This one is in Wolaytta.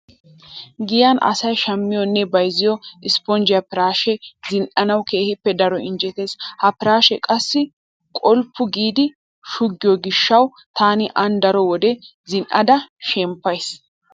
Giyan asay shammiyonne bayzziyo ispponjje piraashee zin"anawu keehippe daro injetees. Ha piraashee qassi qolppu giidi shuggiyo gishshawu taani aan daro wode zin"ada shemppays.